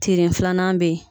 Tiri filanan be ye